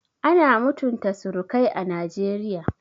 Ana mutunta surukai a Najeriya